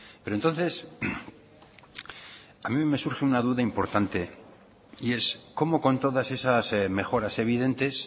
pero entonces a mí me surge una duda importante y es cómo con todas esas mejoras evidentes